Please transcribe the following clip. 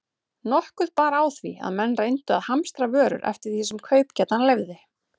Nokkuð bar á því, að menn reyndu að hamstra vörur eftir því sem kaupgetan leyfði.